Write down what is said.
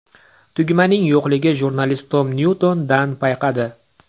Tugmaning yo‘qligini jurnalist Tom Nyuton Dann payqadi.